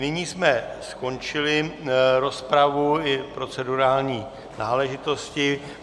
Nyní jsme skončili rozpravu i procedurální náležitosti.